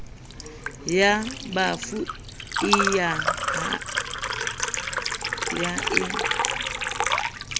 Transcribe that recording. ya bafu e ya e